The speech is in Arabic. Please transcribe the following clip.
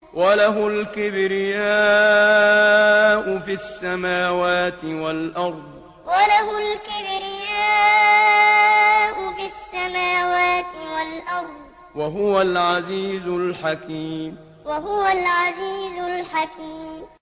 وَلَهُ الْكِبْرِيَاءُ فِي السَّمَاوَاتِ وَالْأَرْضِ ۖ وَهُوَ الْعَزِيزُ الْحَكِيمُ وَلَهُ الْكِبْرِيَاءُ فِي السَّمَاوَاتِ وَالْأَرْضِ ۖ وَهُوَ الْعَزِيزُ الْحَكِيمُ